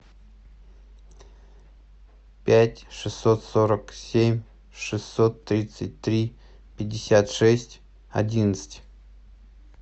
пять шестьсот сорок семь шестьсот тридцать три пятьдесят шесть одиннадцать